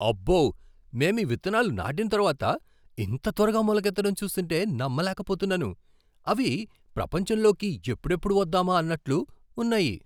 అబ్బో, మేం ఈ విత్తనాలు నాటిన తర్వాత ఇంత త్వరగా మొలకెత్తడం చూస్తుంటే నమ్మలేకపోతున్నాను. అవి ప్రపంచంలోకి ఎప్పుడెప్పుడు వద్దామా అన్నట్లు ఉన్నాయి!